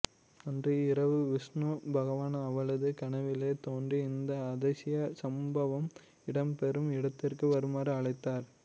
அன்று இரவு விஸ்ணு பகவான் அவளது கனவிலே தோன்றி இந்த அதிசய சம்பவம் இடம் பெறும் இடத்திற்கு வருமாறு அழைத்தார்